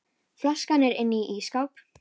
Flaskan er inni í ísskáp.